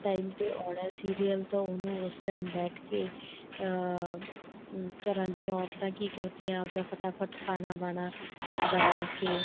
time ਤੇ ਆਉਣਾ serial ਤਾਂ ਉਹਨੂੰ ਉਸ time ਬੈਠਕੇ ਅਹ ਘਰਾਂ ਦੀਆ ਔਰਤਾਂ ਕੀ ਕਰਦੀਆਂ ਆਪ ਦਾ ਫ਼ਟਾਫ਼ਟ ਖਾਣਾ ਬਾਣਾ ਬਣਾਕੇ